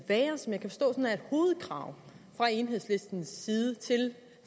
hovedkrav fra enhedslistens side til